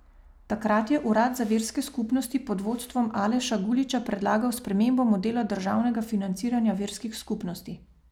Takrat je Urad za verske skupnosti pod vodstvom Aleša Guliča predlagal spremembo modela državnega financiranja verskih skupnosti.